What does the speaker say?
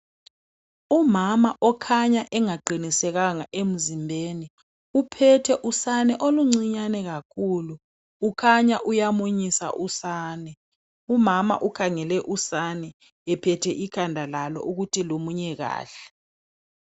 Umama okhanya ongaqinisekanga emzimbeni. uphethe usani oluncinyane kakhulu . Kukhanya uyamunyisa usane. Umama ukhangele usane uphethe ikhanda lalo ukuthi lumunye kahle.